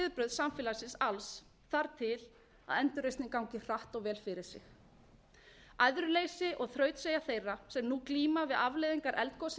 samfélagsins alls þarf til að endurreisnin gangi hratt og vel fyrir sig æðruleysi og þrautseigja þeirra sem nú glíma við afleiðingar eldgossins í